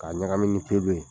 K'a ɲagami ni kebe